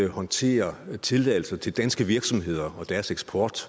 håndterer tilladelser til danske virksomheder og deres eksport